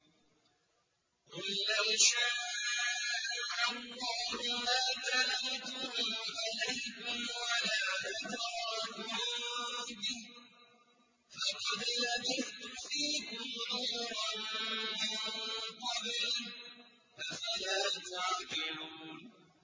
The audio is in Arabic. قُل لَّوْ شَاءَ اللَّهُ مَا تَلَوْتُهُ عَلَيْكُمْ وَلَا أَدْرَاكُم بِهِ ۖ فَقَدْ لَبِثْتُ فِيكُمْ عُمُرًا مِّن قَبْلِهِ ۚ أَفَلَا تَعْقِلُونَ